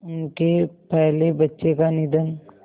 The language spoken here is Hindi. उनके पहले बच्चे का निधन